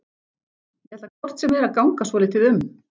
Ég ætla hvort sem er að ganga svolítið um.